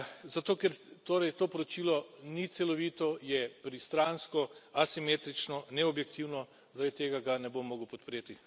Zato ker torej to poročilo ni celovito, je pristransko, asimetrično, neobjektivno, zaradi tega ga ne bom mogel podpreti.